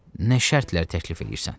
Nə şərtlər təklif eləyirsən?